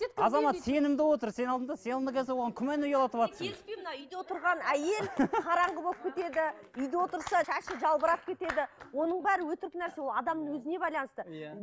азамат сенімді отыр сен алдың да сен алдың да оған күмән ұялатыватырсың үйде отырған әйел қараңғы болып кетеді үйде отырса шашы жалбырап кетеді оның бәрі өтірік нәрсе ол адамның өзіне байланысты иә